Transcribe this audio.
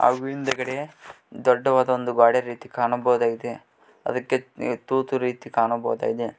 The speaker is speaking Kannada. ಹಾಗೂ ಹಿಂದಗಡೆ ದೊಡ್ಡವಾದ ಒಂದು ಗೋಡೆ ರೀತಿ ಕಾಣಬಹುದಾಗಿದೆ ಅದಕ್ಕೆ ತೂತು ರೀತಿ ಕಾಣಬಹುದಾಗಿದೆ.